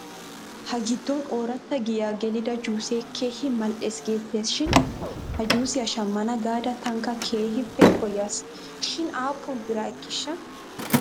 Ha giddon ooratta giyaa gelida juusee keehi mal'es geettes shin he juusiyaa shammana gaada tankka keehippe koyas shin aappun bira ekkiishsha?